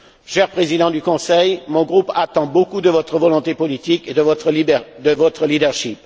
Cher Président du Conseil, mon groupe attend beaucoup de votre volonté politique et de votre leadership